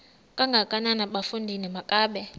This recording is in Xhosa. kangakanana bafondini makabe